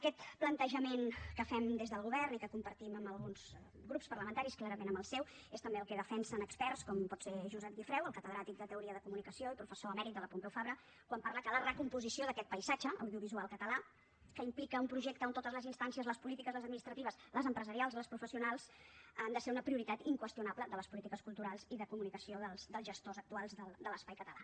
aquest plantejament que fem des del govern i que compartim amb alguns grups parlamentaris clarament amb el seu és també el que defensen experts com pot ser josep gifreu el catedràtic de teoria de comunicació i professor emèrit de la pompeu fabra quan parla que la recomposició d’aquest paisatge audiovisual català que implica un projecte on totes les instàncies les polítiques les administratives les empresarials les professionals han de ser una prioritat inqüestionable de les polítiques culturals i de comunicació dels gestors actuals de l’espai català